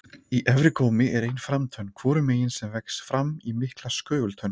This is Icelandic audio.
Í efri gómi er ein framtönn hvorum megin sem vex fram í mikla skögultönn.